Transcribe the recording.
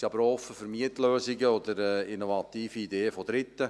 Wir sind aber auch offen für Mietlösungen oder innovative Ideen von Dritten.